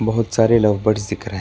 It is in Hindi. बहोत सारे लव बर्ड्स दिख रहे हैं।